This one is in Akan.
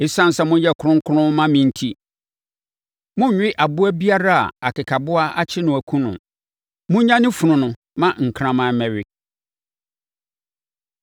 “Esiane sɛ moyɛ kronkron ma me enti, monnwe aboa biara a akekaboa akyere no akum no. Monnya ne funu no ma nkraman mmɛwe.